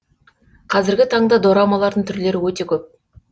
қазіргі таңда дорамалардың түрлері өте көп